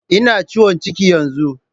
Ina ciwon ciki yanzu